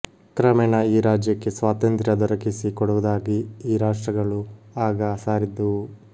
ಕ್ರಮೇಣ ಈ ರಾಜ್ಯಕ್ಕೆ ಸ್ವಾತಂತ್ರ್ಯ ದೊರಕಿಸಿ ಕೊಡುವುದಾಗಿ ಈ ರಾಷ್ಟ್ರಗಳು ಆಗ ಸಾರಿದ್ದುವು